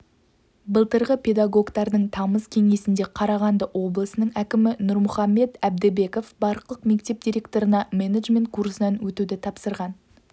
былтырғы педагогтардың тамыз кеңесінде қарағанды облысының әкімі нұрмұхамбет әбдібеков барлық мектеп директорына менеджмент курсынан өтуді тапсырған